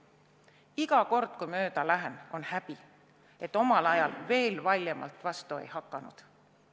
Iga kord, kui mööda lähen, on häbi, et omal ajal veel valjemalt vastu ei hakanud.